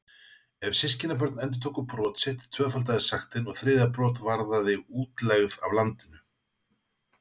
Ef systkinabörn endurtóku brot sitt tvöfaldaðist sektin og þriðja brot varðaði útlegð af landinu.